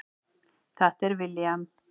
Þetta er William.